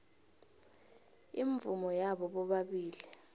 imvumo yabo bobabili